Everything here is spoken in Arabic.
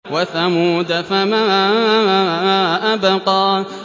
وَثَمُودَ فَمَا أَبْقَىٰ